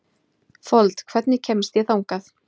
Fold, hvernig kemst ég þangað?